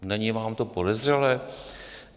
Není vám to podezřelé?